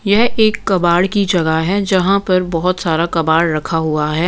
यह एक कबाड़ की जगह है जहाँ पर बहुत सारा कबाड़ रखा हुआ है।